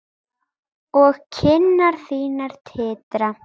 Og kinnar þínar titra.